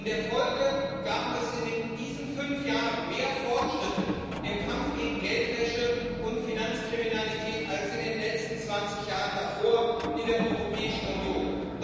In der Folge gab es in diesen fünf Jahren mehr Fortschritte im Kampf gegen Geldwäsche und Finanzkriminalität als in den letzten zwanzig Jahren davor in der Europäischen Union.